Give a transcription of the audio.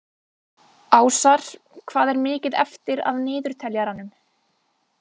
Ásar, hvað er mikið eftir af niðurteljaranum?